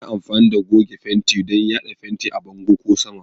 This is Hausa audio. Ana amfani da goge fenti don yada fenti a bango ko saman